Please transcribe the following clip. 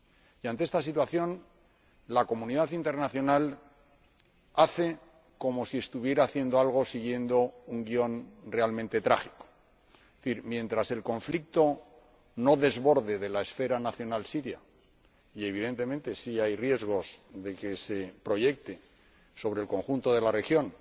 Y ante esta situación, la comunidad internacional hace como si estuviera haciendo algo, siguiendo un guión realmente trágico. Es decir, mientras el conflicto no desborde la esfera nacional siria y, evidentemente, sí hay riesgos de que se proyecte sobre el conjunto de la región